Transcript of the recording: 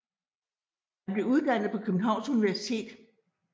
Han blev uddannet på Københavns Universitet